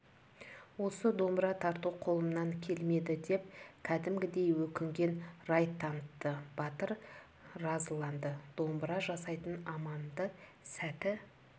осы домбыра тарту қолымнан келмеді деп кәдімгідей өкінген рай танытты батыр разыланды домбыра жасайтын аманды сәті